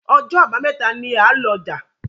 Ọjọ́ Àbàmẹ́ta ní a lò ọja.